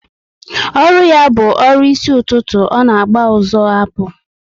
Ọrụ ya bu ọrụ isi ụtụtụ, ọ na agba ụzọ apu